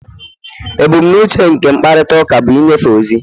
Ebumnuche nke mkparịta ụka bụ ịnyefe ozi